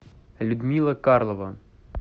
людмила карлова